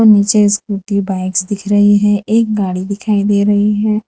निचे scooty bikes दिख रही हैं एक गाड़ी दिखाई दे रही है।